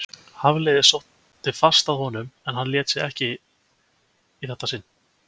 Hafliði sótti fast að honum en hann lét sig ekki í þetta sinn.